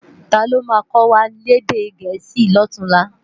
Táló má kòwá lèdè èdè Gẹẹsi lòtúnlá?